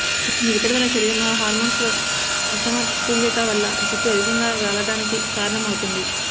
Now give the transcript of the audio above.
ఈ ఒత్తిడి వల్ల శరీరంలో హార్మోన్స్ లో అసమతుల్యత వల్ల జుట్టు అధికంగా రాలడానికి కారణం అవుతుంది